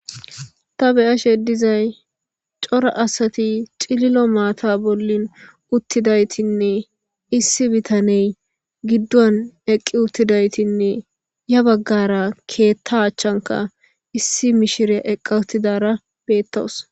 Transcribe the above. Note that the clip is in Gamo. Ta beyashe dizay cora asati cililo mata bolla utidaytinne issi bitaney giduwan eqi utidaytinne ya bagara keta achanka issi mishirya eqa utidara betawus.